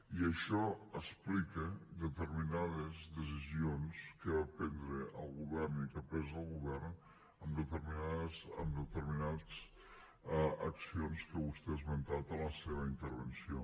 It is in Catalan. i això explica determinades decisions que va prendre el govern i que ha pres el govern en determinades accions que vostè ha esmentat en la seva intervenció